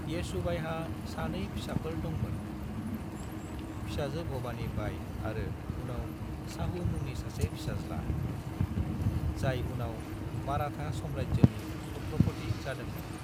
येसुबाईहा सानै फिसाफोर दंमोन, फिसाजो भवानी बाई आरो उनाव शाहू मुंनि सासे फिसाज्ला, जाय उनाव माराठा साम्रायजोनि छत्रपति जादोंमोन।